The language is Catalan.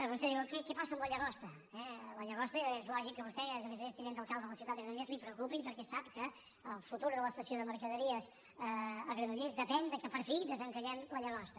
vostè diu què passa amb la llagosta la llagosta és lògic que a vostè a més a més tinent d’alcalde de la ciutat de granollers li preocupi perquè sap que el futur de l’estació de mercaderies a granollers depèn que per fi desencallem la llagosta